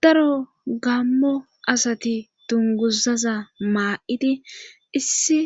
daro gammo asati dunguzaza maa7idi issi